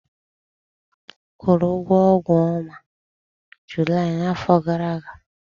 ị kwụrụ ụgwọ ọnwa Julaị afọ gara aga?